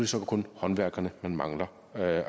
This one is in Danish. så kun håndværkerne der mangler at